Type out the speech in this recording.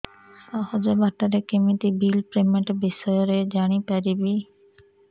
ସହଜ ବାଟ ରେ କେମିତି ବିଲ୍ ପେମେଣ୍ଟ ବିଷୟ ରେ ଜାଣି ପାରିବି